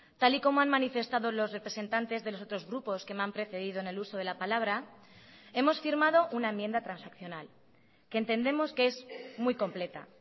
tal y como han manifestado los representantes de los otros grupos que me han precedido en el uso de la palabra hemos firmado una enmienda transaccional que entendemos que es muy completa